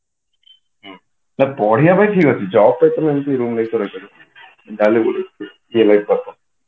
ହୁଁ ନାଇଁ ପଢିବା ପାଇଁ ଠିକ ଅଛି job ତ ଏମିତି ରୁମ ନେଇକି କରିପାରିବନି ଯାହା ହେଲେ ବି